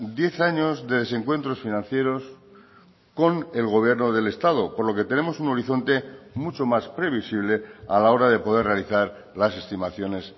diez años de desencuentros financieros con el gobierno del estado por lo que tenemos un horizonte mucho más previsible a la hora de poder realizar las estimaciones